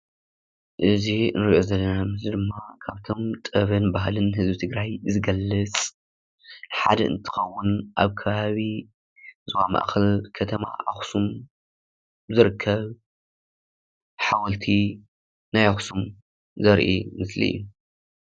እዚ እንርእዮ ዘለና ምስሊ ድማ ካብቶም ጥበብን ባህሊን ህዝቢ ትግራይ ዝገልፅ ሓደ እንትከውን ኣብ ከባቢ ዞባ ማእከል ከተማ ኣክሱም ዝርከብ ሓወልቲ ናይ ኣክሱም ዘርኢ ምስሊ እዩ።